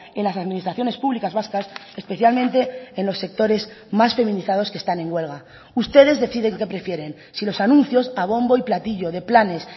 en las administraciones públicas vascas especialmente en los sectores más feminizados que están en huelga ustedes deciden qué prefieren si los anuncios a bombo y platillo de planes